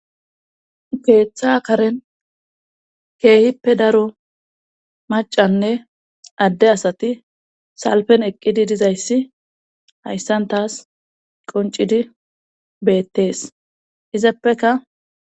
Keeththa karen keehippe daro macanne adde asati salpen eqqidi dizayssi hayssan taas qoncidi beettees izappeka.